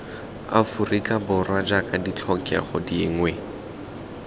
aforika borwa jaaka ditlhokego dingwe